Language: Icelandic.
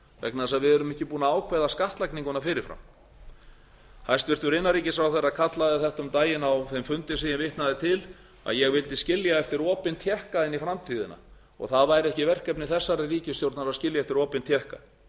vegna þess að við erum ekki búin að ákveða skattlagninguna fyrir fram hæstvirtur innanríkisráðherra kallaði þetta um daginn á þeim fundi sem ég vitnaði til að ég vildi skilja eftir opinn tékka inn í framtíðina og það væri ekki verkefni þessarar ríkisstjórnar að skilja eftir opinn tékka